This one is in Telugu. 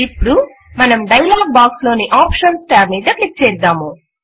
ఇప్పుడు మనం డైలాగ్ బాక్స్ లోని ఆప్షన్స్ టాబ్ మీద క్లిక్ చేద్దాము